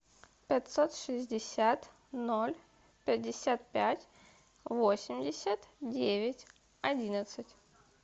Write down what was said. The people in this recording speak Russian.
пятьсот шестьдесят ноль пятьдесят пять восемьдесят девять одиннадцать